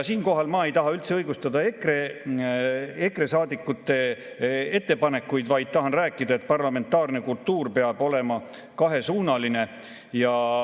Siinkohal ma ei taha üldse õigustada EKRE saadikute ettepanekuid, vaid tahan rääkida, et parlamentaarne kultuur peab olema kahesuunaline.